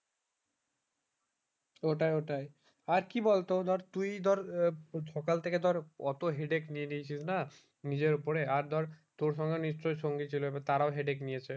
ওটাই ওটাই আর কি বল তো ধর তুই ধর সকাল থেকে ধর অতো headache নিয়ে নিয়েছিস না নিজের উপরে আর ধর তোর সঙ্গে নিশ্চয়ই সঙ্গী ছিল এবার তারাও headache নিয়েছে